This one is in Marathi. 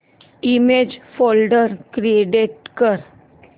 इमेज फोल्डर क्रिएट कर